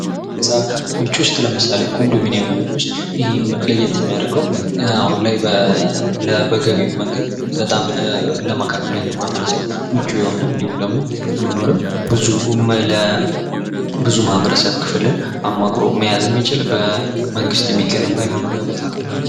ከህንፃ ቤቶች ውስጥ ለምሳሌ ኮንዶሚኒየም ብንወስድ ይህ ለየት የሚያደርገው አሁን ላይ በገቢ መንገድ ለመካከለኛው ማህበረሰብ በጣም ምቹ የሆነ፥ እንዲሁም ደግሞ ለመኖርም ብዙ የማህበረሰብ ክፍልን አማክሎ የያዘ፥ በመንግስት የሚገነባ የመኖሪያ ቦታ ነው ማለት ነው።